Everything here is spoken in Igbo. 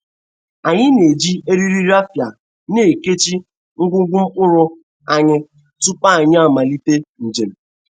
Anyi na-eji eriri rafịa na-ekechi ngwugwu mkpụrụ anyi tupu anyi amalite njem.